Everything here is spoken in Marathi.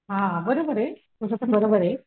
हा बरोबर आहे तुझं पण बरोबर आहे.